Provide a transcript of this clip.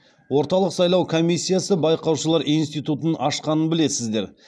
орталық сайлау комиссиясы байқаушылар институтын ашқанын білесіздер